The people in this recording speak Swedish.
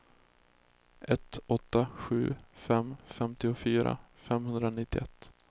ett åtta sju fem femtiofyra femhundranittioett